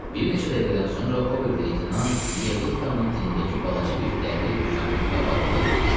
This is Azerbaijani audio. Bir neçə dəqiqədən sonra o bir leytenant Vikanın tinindəki balaca bir dələq dükanının qabağında durmuşdu.